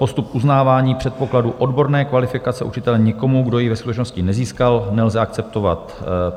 Postup uznávání předpokladů odborné kvalifikace učitele nikomu, kdo ji ve skutečnosti nezískal, nelze akceptovat.